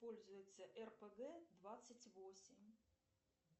пользуется рпг двадцать восемь